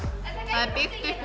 það er byggt upp